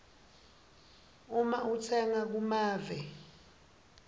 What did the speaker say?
uma utsenga kumave